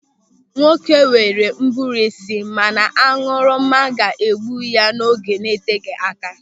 Nwoke nwere ụbụrụ isi mana añụrụma ga-egbu ya n'oge na-eteghị aka.